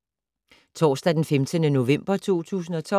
Torsdag d. 15. november 2012